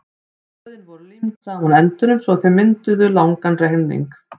blöðin voru límd saman á endunum svo að þau mynduðu langan renning